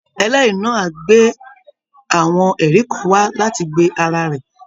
Ẹlẹ́rìí náà á gbé àwọn ẹ̀rí kan wá láti gbe ara rẹ̀